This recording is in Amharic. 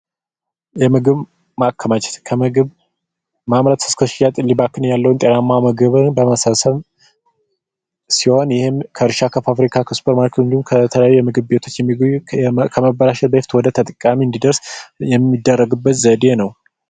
የምግብ ማከማቸት ምግብን ከማከማቻው እስከማምረትና መሸጥ ያለውን ጤናማ የምግብ መሰብሰብ ሲሆን ይህም ከእርሻ እስከ ከሱፐርማርኬቶች እንዲሁም ከተለያዩ ምግብ ቤቶች የሚገኘውን በመበላሸት ላይ ያለውን ወደ ተጠቃሚ እንዲደርስ የሚደረግበት ዘዴ ነው።